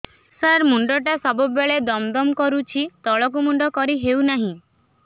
ସାର ମୁଣ୍ଡ ଟା ସବୁ ବେଳେ ଦମ ଦମ କରୁଛି ତଳକୁ ମୁଣ୍ଡ କରି ହେଉଛି ନାହିଁ